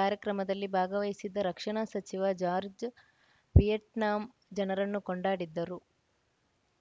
ಕಾರ್ಯಕ್ರಮದಲ್ಲಿ ಭಾಗವಹಿಸಿದ್ದ ರಕ್ಷಣಾ ಸಚಿವ ಜಾರ್ಜ್ ವಿಯೆಟ್ನಾಂ ಜನರನ್ನು ಕೊಂಡಾಡಿದ್ದರು